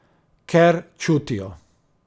Ker čutijo.